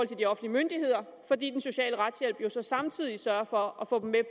til de offentlige myndigheder fordi den sociale retshjælp samtidig sørger for at få dem til